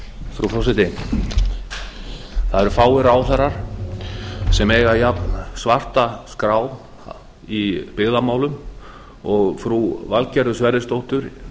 frú forseti það eru fáir ráðherrar sem eiga jafnsvarta skrá í byggðamálum og frú valgerður sverrisdóttir